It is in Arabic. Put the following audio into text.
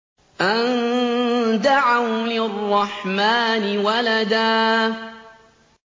أَن دَعَوْا لِلرَّحْمَٰنِ وَلَدًا